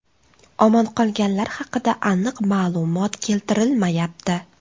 Omon qolganlar haqida aniq ma’lumot keltirilmayapti.